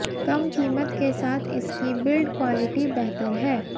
कम कीमत के साथ इसकी बिल्ड क्वालिटी बेहतर है